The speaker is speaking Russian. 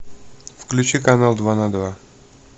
включи канал два на два